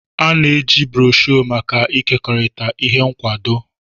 A na-eji broshuọ maka ịkekọrịta ihe nkwado.